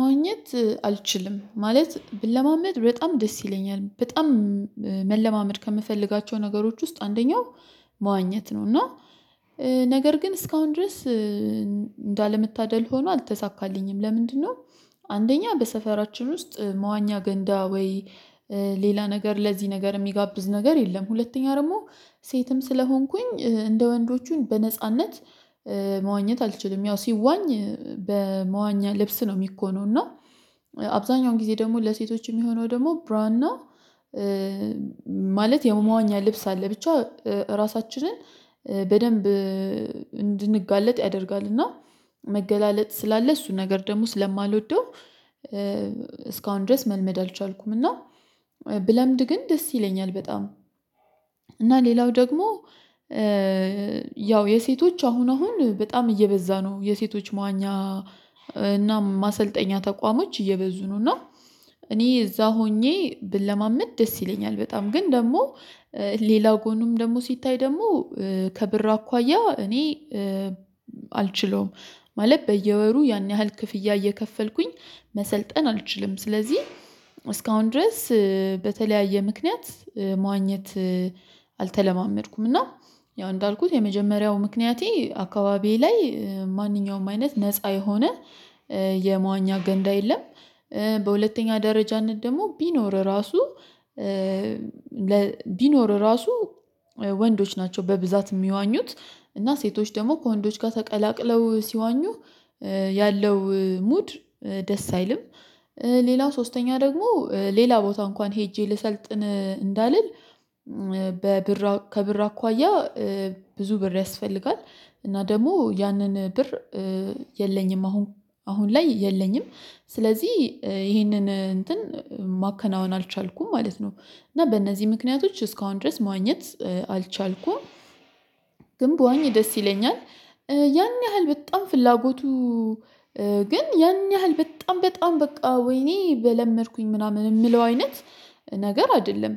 ማግኘት አልችልም ማለት ብለማመድ በጣም ደስ ይለኛል በጣም መለማመድ ከምፈልጋቸው ነገሮች ውስጥ አንደኛው መዋኘት ነው። እና ነገር ግን እስካሁን ድረስ እንዳለመታደል ሆኖ አልተሳካልኝም። ለምንድነው? አንደኛ በሰፈራችን ውስጥ መዋኛ ገንዳ ወይ ሌላ ነገር ለዚህ ነገር የሚጋብዝ ነገር የለም። ሁለተኛ ደግሞ ሴትም ስለሆንኩኝ እንደ ወንዶቹን በነጻነት መዋኘት አልችልም ያው ሲዋኝ በመዋኛ ልብስ ነው የሚኮነው። እና አብዛኛውን ጊዜ ደግሞ ለሴቶች የሚሆነው ደግሞ ብራና ማለት የመዋኛ ልብስ አለ። ብቻ ራሳችንን በደንብ እንድንጋለጥ ያደርጋልና መገላለጥ ስላለ እሱን ነገር ደግሞ ስለማልወደው እስካሁን ድረስ መልመድ አልቻልኩም። እና ብለምድ ግን ደስ ይለኛል በጣም እና ሌላው ደግሞ ያው የሴቶች አሁን አሁን በጣም እየበዛ ነው። የሴቶች መዋኛ እና ማሰልጠኛ ተቋሞች እየበዙ ነውና እኔ እዛ ሆኜ ብለማመድ ደስ ይለኛል። በጣም ግን ደግሞ ሌላው ጎኑም ደግሞ ሲታይ ደግሞ ከብር አኳያ እኔ አልችለውም ማለት በየወሩ ያን ያህል ክፍያ እየከፈልኩኝ መሰልጠን አልችልም። ስለዚህ እስካሁን ድረስ በተለያየ ምክንያት መዋኘት አልተለማመድኩም። እና ያው እንዳልኩት የመጀመሪያው ምክንያቴ አካባቢዬ ላይ ማንኛውም አይነት ነፃ የሆነ የመዋኛ ገንዳ የለም። በሁለተኛ ደረጃነት ደግሞ ቢኖር ራሱ ቢኖር ራሱ ወንዶች ናቸው በብዛት የሚዋኙት እና ሴቶች ደግሞ ከወንዶች ጋር ተቀላቅለው ሲዋኙ ያለው ሙድ ደስ አይልም። ሌላ ሶስተኛ ደግሞ ሌላ ቦታ እንኳን ሄጄ ልሰልጥን እንዳልል በብር ከብር አኳያ ብዙ ብር ያስፈልጋል። እና ደግሞ ያንን ብር የለኝም አሁን አሁን ላይ የለኝም። ስለዚህ ይሄንን እንትን ማከናወን አልቻልኩም ማለት ነው። እና በእነዚህ ምክንያቶች እስካሁን ድረስ ማግኘት አልቻልኩም። ግን በዋኝ ደስ ይለኛል ያን ያህል በጣም ፍላጎቱ ግን ያን ያህል በጣም በጣም በቃ ወይኔ በለመድኩኝ ምናምን የምለው አይነት ነገር አይደለም።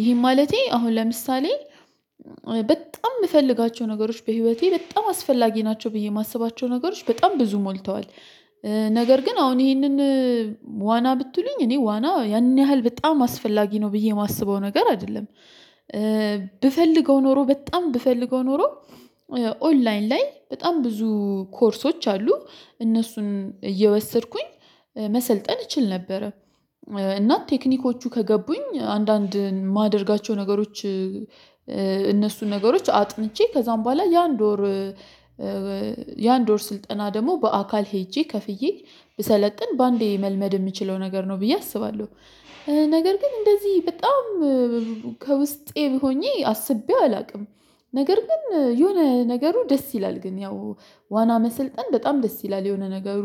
ይሄን ማለቴ አሁን ለምሳሌ በጣም የምፈልጋቸው ነገሮች በህይወቴ በጣም አስፈላጊ ናቸው ብዬ የማስባቸው ነገሮች በጣም ብዙ ሞልተዋል። ነገር ግን አሁን ይሄንን ዋና ብትሉኝ እኔ ዋና ያን ያህል በጣም አስፈላጊ ነው ብዬ የማስበው ነገር አይደለም። ብፈልገው ኖሮ በጣም ብፈልገው ኖሮ ኦንላይን ላይ በጣም ብዙ ኮርሶች አሉ። እነሱን እየወሰድኩኝ መሰልጠን እችል ነበረ እናት ቴክኒኮቹ ከገቡኝ አንዳንድ የማደርጋቸው ነገሮች እነሱን ነገሮች አጥንቼ ከዛም በኋላ ያን ዶር ያን ዶር ስልጠና ደግሞ በአካል ሄጄ ከፍዬ ብሰለጥን በአንዴ መልመድ የምችለው ነገር ነው ብዬ አስባለሁ። ነገር ግን እንደዚህ በጣም ከውስጤ ሆኜ አስቤው አላውቅም። ነገር ግን የሆነ ነገሩ ደስ ይላል ግን ያው ዋና መሰልጠን በጣም ደስ ይላል የሆነ ነገሩ።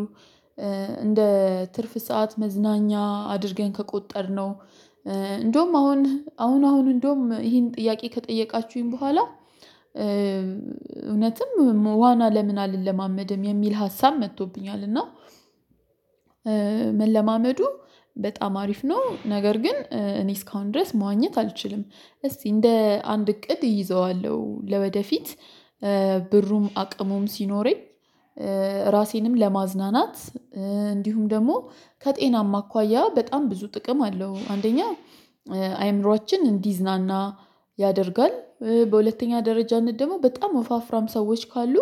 እንደ ትርፍ ሰዓት መዝናኛ አድርገን ከቆጠርነው እንደውም አሁን አሁን አሁን እንደውም ይሄን ጥያቄ ከጠየቃችሁኝ በኋላ እውነትም የና ለምን አልለማመድም የሚል ሀሳብ መጥቶብኛል እና መለማመዱ በጣም አሪፍ ነው። ነገር ግን እኔ እስካሁን ድረስ መዋኘት አልችልም። እስቲ እንደ አንድ እቅድ ይዘዋለሁ ለወደፊት ብሩም አቅሙም ሲኖረኝ ራሴንም ለማዝናናት እንዲሁም ደግሞ ከጤናማ አኳያ በጣም ብዙ ጥቅም አለው። አንደኛ አይምሮአችን እንዲዝናና ያደርጋል በሁለተኛ ደረጃነት ደግሞ በጣም ወፍራም ሰዎች ካሉ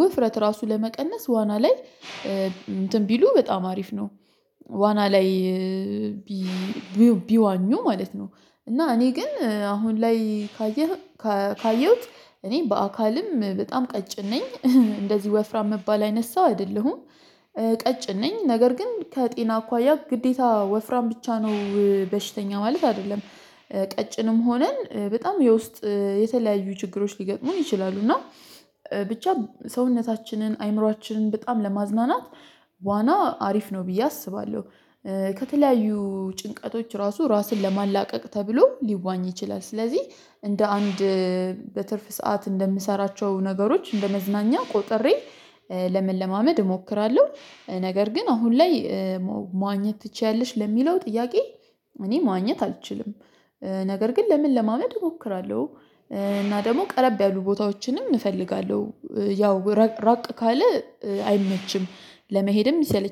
ውፍረት ራሱ ለመቀነስ ዋና ላይ እንትን ቢሉ በጣም አሪፍ ነው። ዋና ላይ ቢዋኙ ማለት ነው። እና እኔ ግን አሁን ላይ ካየህ ካየሁት እኔ በአካልም በጣም ቀጭን ነኝ እንደዚህ ወፍራም መባል አይነት ሰው አይደለሁም። ቀጭን ነኝ ነገር ግን ከጤና አኳያ ግዴታ ወፍራም ብቻ ነው በሽተኛ ማለት አይደለም። ቀጭንም ሆነን በጣም የውስጥ የተለያዩ ችግሮች ሊገጥሙን ይችላሉ። እና ብቻ ሰውነታችንን አይምሮአችንን በጣም ለማዝናናት ዋና አሪፍ ነው ብዬ አስባለሁ። ከተለያዩ ጭንቀቶች ራሱ ራስን ለማላቀቅ ተብሎ ሊዋኝ ይችላል። ስለዚህ እንደ አንድ በትርፍ ሰዓት እንደምሰራቸው ነገሮች እንደ መዝናኛ ቆጥሬ ለመለማመድ እሞክራለሁ። ነገር ግን አሁን ላይ መዋኘት ትችያለሽ ለሚለው ጥያቄ? እኔ ማግኘት አልችልም። ነገር ግን ለምን ለማመድ እሞክራለሁ። እና ደግሞ ቀረብ ያሉ ቦታዎችንም እፈልጋለሁ ያው ራቅ ካለ አይመችም ለመሄድም ይሰለች